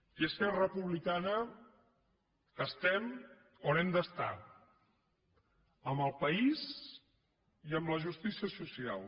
i esquerra republicana estem on hem d’estar amb el país i amb la justícia social